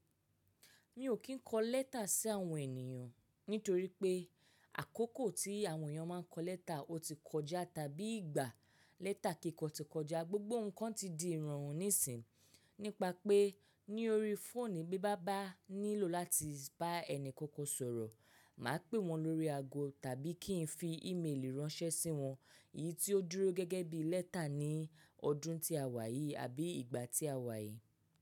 Mi ò kín kọ lẹ́tà sí àwọn ènìyàn nítorí pé àkókò tí àwọn èèyàn máa ń kọ lẹ́tà ó ti kọjá tàbí ìgbà lẹ́tà kíkọ ti kọjá, gbogbo nǹkan ti di ìrọ̀rùn nísìín. Nípa pé ní orí fóònù bí bá bá nílò láti bá ẹni kankan sọ̀rọ̀, màá pè wọ́n lórí ago tàbí kí n fi ímelì ránṣẹ́ sí wọn, èyí tí ó dúró gẹ́gẹ́ bí lẹ́tà ní ọdún tí a wà yìí àbí ìgbà tí a wà yìí.